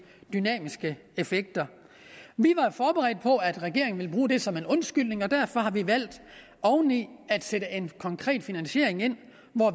dynamiske effekter vi var forberedt på at regeringen ville bruge det som en undskyldning og derfor har vi valgt oven i at sætte en konkret finansiering ind